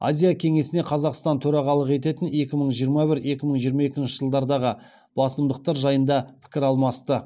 азия кеңесіне қазақстан төрағалық ететін екі мың жиырма бір екі мың жиырма екінші жылдардағы басымдықтар жайында пікір алмасты